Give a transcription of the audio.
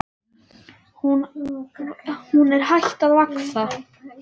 Hún er hætt að vaxa!